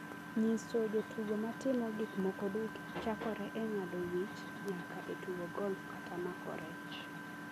nyiso jotugo ma timo gik moko duto chakore e ng’ado wich nyaka e tugo golf kata mako rech.